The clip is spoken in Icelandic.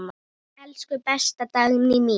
Elsku besta Dagný mín.